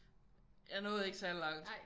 Jeg nåede ikke særlig langt